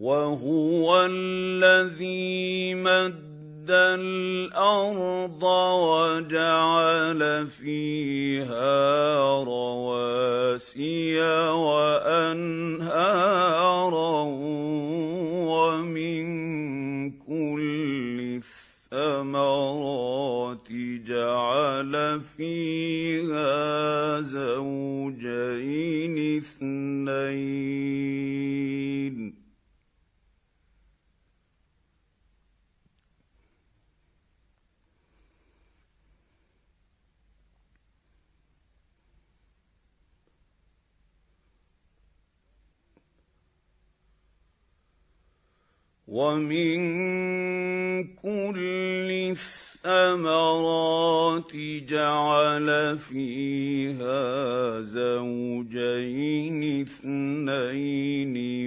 وَهُوَ الَّذِي مَدَّ الْأَرْضَ وَجَعَلَ فِيهَا رَوَاسِيَ وَأَنْهَارًا ۖ وَمِن كُلِّ الثَّمَرَاتِ جَعَلَ فِيهَا زَوْجَيْنِ اثْنَيْنِ ۖ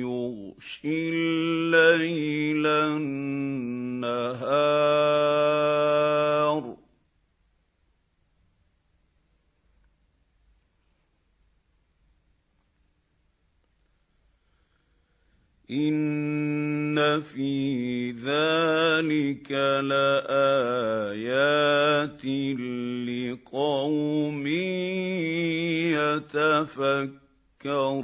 يُغْشِي اللَّيْلَ النَّهَارَ ۚ إِنَّ فِي ذَٰلِكَ لَآيَاتٍ لِّقَوْمٍ يَتَفَكَّرُونَ